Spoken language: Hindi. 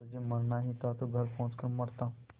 तुझे मरना ही था तो घर पहुँच कर मरता